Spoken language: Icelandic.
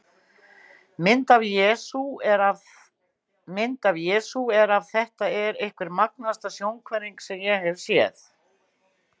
Mynd af Jesú er af Þetta er einhver magnaðasta sjónhverfing sem ég hef séð.